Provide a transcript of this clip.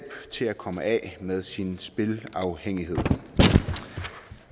til at komme af med sin spilafhængighed